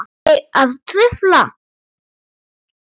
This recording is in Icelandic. Er ég að trufla?